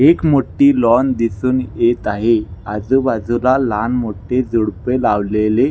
एक मोठी लाॅन दिसुन येत आहे आजु बाजुला लहान मोठे झुडपे लावलेले--